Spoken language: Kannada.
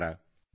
ನಮಸ್ಕಾರ